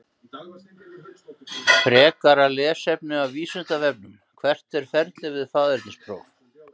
Frekara lesefni af Vísindavefnum: Hvert er ferlið við faðernispróf?